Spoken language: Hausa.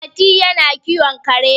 Mati yana kiwon kare